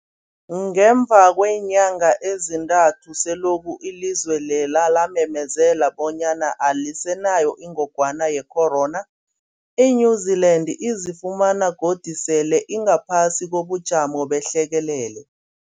Ngemva kweenyanga ezintathu selokhu ilizwe lela lamemezela bonyana alisenayo ingogwana ye-corona, i-New-Zealand izifumana godu sele ingaphasi kobujamo behlekelele.